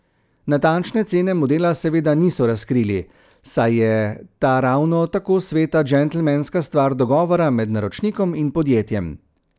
Natančne cene modela seveda niso razkrili, saj je ta ravno tako sveta džentelmenska stvar dogovora med naročnikom in podjetjem.